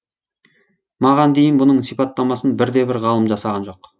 маған дейін мұның сипаттамасын бір де бір ғалым жасаған жоқ